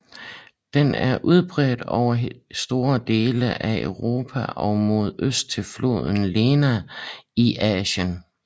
Den er udbredt over store dele af Europa og mod øst til floden Lena i Asien